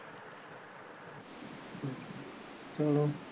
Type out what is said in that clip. ਚੱਲੋ